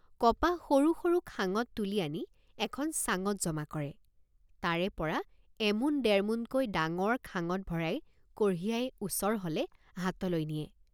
কপাহ সৰু সৰু খাঙত তুলি আনি এখন চাঙত জমা কৰে তাৰেপৰা এমোন ডেৰমোনকৈ ডাঙৰ খাঙত ভৰাই কঢ়িয়াই ওচৰ হলে হাটলৈ নিয়ে।